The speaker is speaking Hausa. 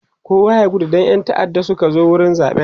kowa ya gudu Dan ƴan ta'adda Suka zo wurin zaɓen